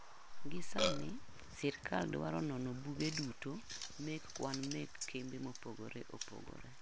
Gi sani sirkal dwaro nono buge duto mek kwan mek kembe mopogore opogore.